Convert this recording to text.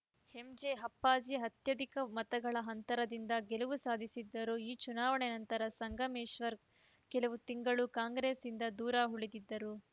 MJ Appaji ಅತ್ಯಧಿಕ ಮತಗಳ ಅಂತರದಿಂದ ಗೆಲುವು ಸಾಧಿಸಿದ್ದರು ಈ ಚುನಾವಣೆ ನಂತರ ಸಂಗಮೇಶ್ವರ್‌ ಕೆಲವು ತಿಂಗಳು ಕಾಂಗ್ರೆಸ್‌ನಿಂದ ದೂರ ಉಳಿದಿದ್ದರು